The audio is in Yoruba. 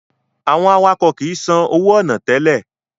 Àwọn awakọ̀ kìí san owó ọ̀nà tẹ́lẹ̀